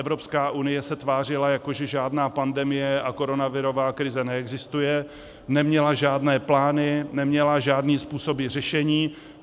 Evropská unie se tvářila, jako že žádná pandemie a koronavirová krize neexistuje, neměla žádné plány, neměla žádné způsoby řešení.